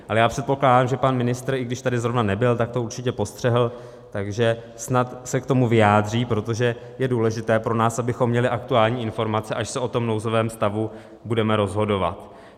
Ale já předpokládám, že pan ministr, i když tady zrovna nebyl, tak to určitě postřehl, takže snad se k tomu vyjádří, protože je důležité pro nás, abychom měli aktuální informace, až se o tom nouzovém stavu budeme rozhodovat.